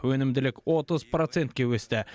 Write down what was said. өнімділік отыз процентке өсті